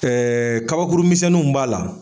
Ɛɛ kabakuru minɛnnuw b'a la